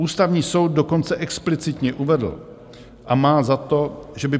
Ústavní soud dokonce explicitně uvedl a má za to, že by